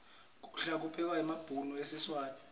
kudla kuphekwa ngemabhudo esiswati